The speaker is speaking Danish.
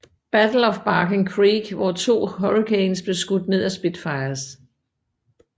Battle of Barking Creek hvor to Hurricanes blev skudt ned af Spitfires